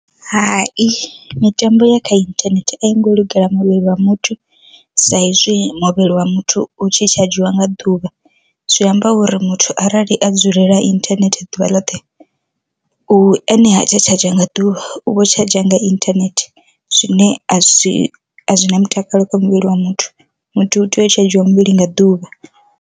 Hai mitambo ya kha inthanethe a i ngo lugela muvhili wa muthu sa izwi muvhili wa muthu u tshi tsha dzhiwa nga ḓuvha, zwi amba uri muthu arali a dzulela internet ḓuvha ḽoṱhe, u ene ha tsha tshadzha nga ḓuvha u vho tshadzha nga internet zwine azwi azwina mutakalo kha muvhili wa muthu, muthu u tea u tsha dzhiwa muvhili nga ḓuvha.